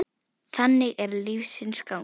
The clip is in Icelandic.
Þannig er lífsins gangur.